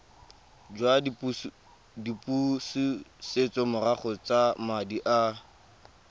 jwa dipusetsomorago tsa madi a